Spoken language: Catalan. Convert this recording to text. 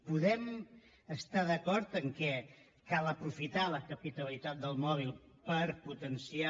podem estar d’acord que cal aprofitar la capitalitat del mòbil per potenciar